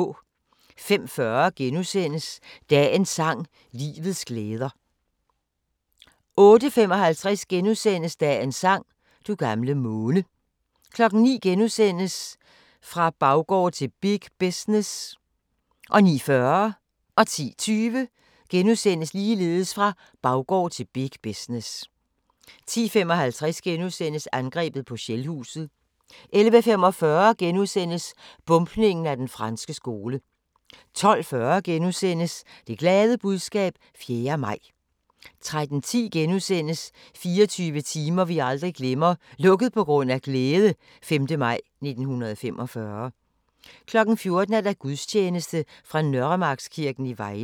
05:40: Dagens sang: Livets glæder * 08:55: Dagens sang: Du gamle måne 09:00: Fra baggård til big business * 09:40: Fra Baggård til big business * 10:20: Fra baggård til big business * 10:55: Angrebet på Shellhuset * 11:45: Bombningen af Den Franske Skole * 12:40: Det glade budskab 4. maj * 13:10: 24 timer vi aldrig glemmer - "Lukket på grund af glæde" - 5. maj 1945 * 14:00: Gudstjeneste fra Nørremarkskirken i Vejle